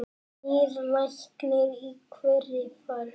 Nýr læknir í hverri ferð.